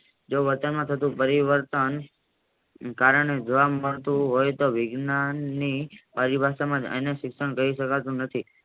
જો વર્તનમાં થતું પરિવર્તન કારણે પડતું હોય તો વિજ્ઞાનની અવિભાસમાં જ એને શિક્ષણ કહી શકાતું નથી.